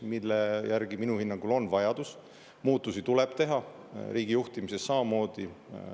Selle järgi on minu hinnangul vajadus, muudatusi tuleb teha, samamoodi riigijuhtimises.